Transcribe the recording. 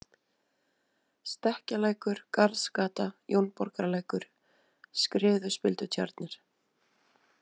Stekkjalækur, Garðsgata, Jónborgarlækur, Skriðuspildutjarnir